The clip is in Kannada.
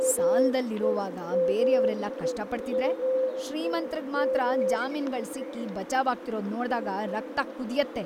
ಸಾಲದಲ್ಲಿರುವಾಗ ಬೇರೆಯವ್ರೆಲ್ಲ ಕಷ್ಟ ಪಡ್ತಿದ್ರೆ ಶ್ರೀಮಂತ್ರಿಗ್ ಮಾತ್ರ ಜಾಮೀನ್ಗಳ್‌ ಸಿಕ್ಕಿ ಬಚಾವಾಗ್ತಿರೋದ್ ನೋಡ್ದಾಗ ರಕ್ತ ಕುದ್ಯತ್ತೆ.